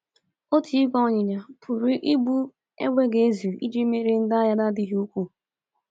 Otu ìgwè ịnyịnya pụrụ ibu égbè ga-ezu iji merie ndị agha na-adịghị ukwuu.